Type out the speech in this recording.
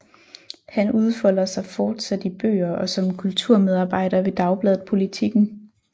Han udfolder sig fortsat i bøger og som kulturmedarbejder ved dagbladet Politiken